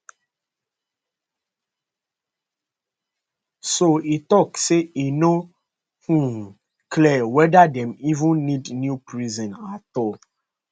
so e tok say e no um clear whether dem even need new prison at all